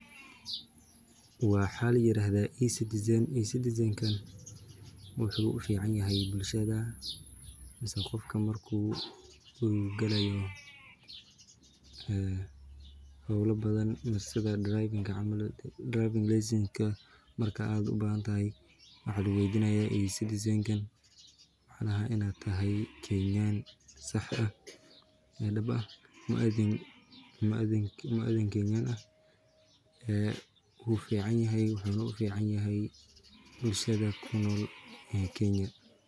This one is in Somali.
Waa ladahaa ecitizan wuxuu ufican yahay bulshada mise qofka marku uu galaayo lesin waxaa lagu weydinaa inaad tahay muwadin Kenyan ah wuxuu ufican yahay bulshada kunool Kenya.